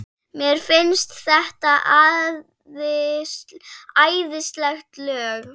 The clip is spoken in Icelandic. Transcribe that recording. Mér finnst þetta æðisleg lög.